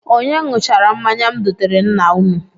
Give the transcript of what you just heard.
Onye ṅụchara mmanya m doteere nna unu?